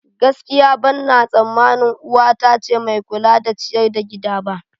Gaskiya, ɓanna tsamanin uwa ta ce mai kula da ciyar da gida ba.